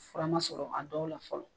Fura ma sɔrɔ a dɔw la fɔlɔ.